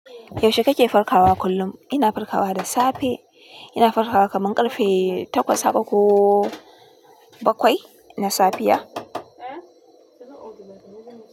Yaushe kake farkawa kullum? Ina farkawa da safe. Ina farkawa kaman karfe takwas haka ko bakwai na safiya.